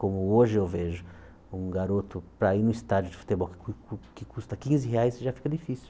Como hoje eu vejo um garoto para ir num estádio de futebol que cus cus que custa quinze reais, já fica difícil.